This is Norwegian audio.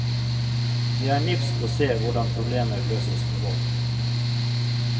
Det er nifst å se hvordan problemer løses med vold.